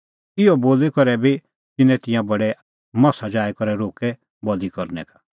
इहअ बोली करै बी तिन्नैं तिंयां बडै मसा जाई करै रोक्कै बल़ी करनै का